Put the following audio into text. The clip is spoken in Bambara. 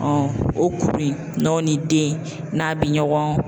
o kuru in n'o ni den n'a bi ɲɔgɔn